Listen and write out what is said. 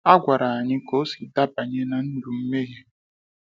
A gwara anyị ka o sị dabanye na ndụ mmeghe.